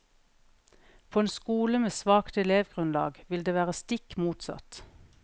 På en skole med svakt elevgrunnlag vil det være stikk motsatt.